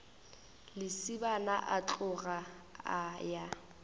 lesibana a tloga a ya